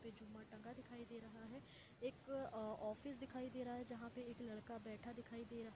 जहाँ पे झूमर टंगा दिखाई दे रहा है एक ऑफिस दिखाई दे रहा है जहाँ पे एक लड़का बैठा दिखाई दे रहा है।